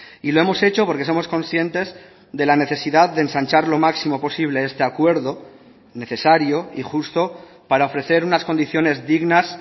y lo hemos hecho porque somos conscientes de la necesidad de ensanchar lo máximo posible este acuerdo necesario y justo para ofrecer unas condiciones dignas